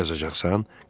Məktub yazacaqsan?